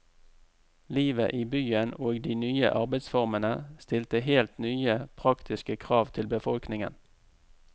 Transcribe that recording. Livet i byen og de nye arbeidsformene stilte helt nye, praktiske krav til befolkningen.